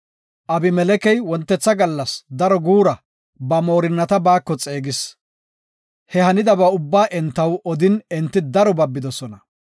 Abimelekey wontetha gallas daro guura ba moorinnata baako xeegis. He hanidaba ubba entaw odin enti daro babidosona.